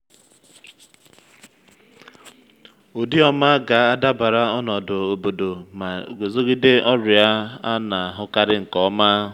ụdị ọma ga-adabara ọnọdụ obodo ma guzogide ọrịa a na-ahụkarị nke ọma.